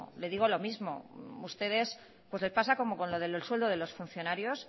le digo lo mismo ustedes pues le pasa como lo del sueldo de los funcionarios